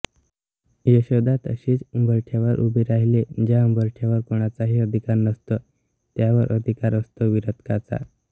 यशोदा तशीच उंबरठ्यावर उभी राहिली ज्या ऊंबरठ्यावर कोणाचाही अधिकार नसतो त्यावर अधिकार असतो विरक्ताचा